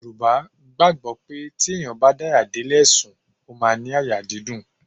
Yorùbá gbàgbó pé tí èèyàn bá daya dé lè sùn, ó máa ní àyà dídùn.